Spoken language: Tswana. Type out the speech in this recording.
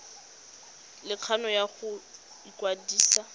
le kgano ya go ikwadisa